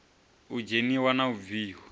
u dzheniwa na u bviwa